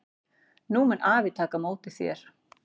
Nú mun afi taka á móti þér.